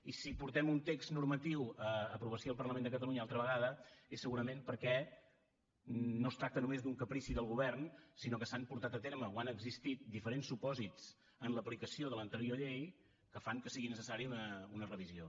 i si portem un text normatiu a aprovació al parlament de catalunya altra vegada és segurament perquè no es tracta només d’un caprici del govern sinó que s’han portat a terme o han existit diferents supòsits en l’aplicació de l’anterior llei que fan que sigui necessària una revisió